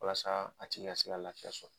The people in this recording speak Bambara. Walasa a tigi ka se ka lafiya sɔrɔ.